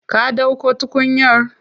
Ka dauko tukunyar?